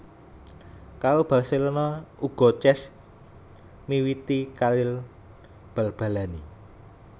Karo Barcelona uga Cesc miwiti karir bal balanè